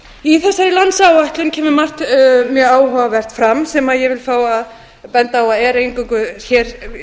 í þessari landsáætlun kemur margt mjög áhugavert fram sem ég vil fá að benda á að er eingöngu hér